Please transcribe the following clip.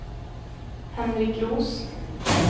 Henrik Roos